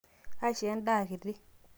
aisho endaa kiti